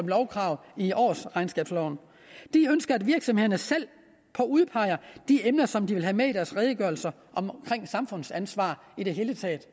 lovkrav i årsregnskabsloven de ønsker at virksomhederne selv udpeger de emner som de vil have med i deres redegørelser omkring samfundsansvar i det hele taget